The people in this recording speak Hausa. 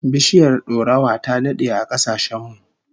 Biishiyar dorawa ta dade a kasashen mu